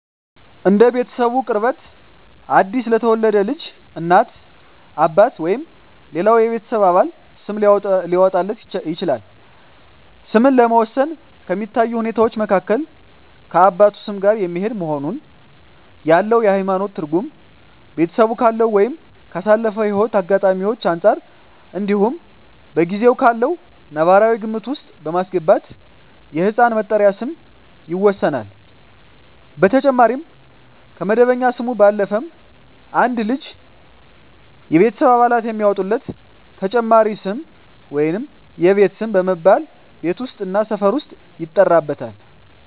እንደ ቤተሰቡ ቅርበት አዲስ ለተወለደ ልጅ እናት፣ አባት ወይም ሌላው የቤተሰብ አባል ስም ሊያወጣለት ይችላል። ስምን ለመወሰን ከሚታዩ ሁኔታወች መካከል ከአባቱ ስም ጋር የሚሄድ መሆኑን፣ ያለው የሀይማኖት ትርጉም፣ ቤተሰቡ ካለው ወይም ካሳለፈው ህይወት አጋጣሚወች አንፃር እንዲሁም በጊዜው ካለው ነባራዊ ግምት ውስጥ በማስገባት የህፃን መጠሪያ ስም ይወሰናል። በተጨማሪም ከመደበኛ ስሙ ባለፈም አንድ ልጅ የቤተሰብ አባላት የሚያወጡለት ተጨማሪ ስም የቤት ስም በመባል ቤት ውስጥ እና ሰፈር ውስጥ ይጠራበታል።